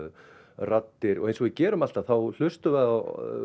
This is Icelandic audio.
raddir eins og við gerum alltaf þá hlustum við á